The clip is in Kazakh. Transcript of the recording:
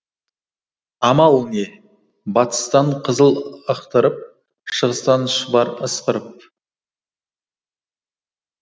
амал не батыстан қызыл ықтырып шығыстан шұбар ысқырып